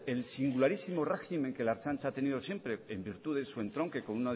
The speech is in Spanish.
el singularísimo régimen que la ertzaintza ha tenido siempre en virtud de su entronque